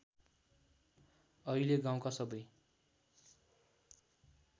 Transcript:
अहिले गाउँका सबै